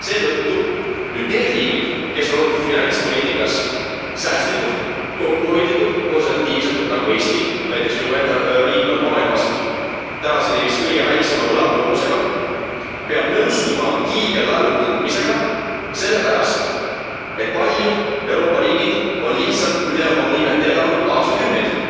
Seetõttu nüüd need riigid, kes on olnud finantspoliitikas säästlikud, kokkuhoidlikud, konservatiivsed nagu Eesti, minu enda riik, mis on maailmas tänaseni vist kõige väiksema võlakoormusega, peab nõustuma hiigellaenu võtmisega sellepärast, et paljud Euroopa riigid on lihtsalt üle oma võimete elanud aastakümneid.